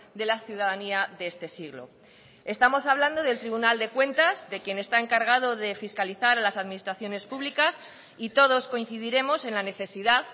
de la ciudadanía de este siglo estamos hablando del tribunal de cuentas de quien está encargado de fiscalizar las administraciones públicas y todos coincidiremos en la necesidad